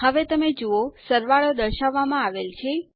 હવે તમે જુઓ સરવાળો દર્શાવવામાં આવેલ છે